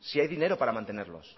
si hay dinero para mantenerlos